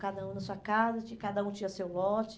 Cada um na sua casa, tinha cada um tinha seu lote.